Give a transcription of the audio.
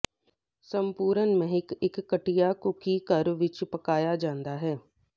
ਸੰਪੂਰਣ ਮਹਿਕ ਇੱਕ ਘਟੀਆ ਕੂਕੀ ਘਰ ਵਿੱਚ ਪਕਾਇਆ ਜਾਂਦਾ ਹੈ